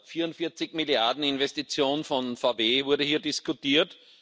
44 Milliarden Investitionen von VW wurde hier diskutiert.